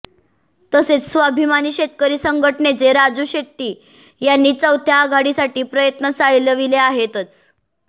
तसेच स्वाभिमानी शेतकरी संघटनेचे राजू शेट्टी यांनी चौथ्या आघाडीसाठी प्रयत्न चालविले आहेतच